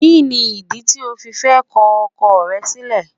Kíni ìdí tí o fi fẹ́ ko ọkọ rẹ sílè